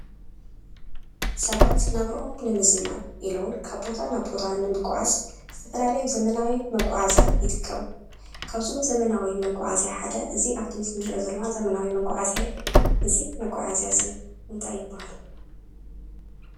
ሰባት ናብረኦም ንምዝማን ኢሉ እውን ካብ ቦታ ናብ ቦታ ንምግዓዝ ዝተፈላለየ ዘመናዊ መጎዓዝያ ይጥቀም። ካብዞም ዘመናዊ መጎዓዝያ ሓደ እዙይ ኣብ ምስሊ እንርእዮ ዘለና ዘመናዊ መጎዓዝያ እዩ። እዙይ መጎዓዝያ እዙይ እንታይ ይብሃል?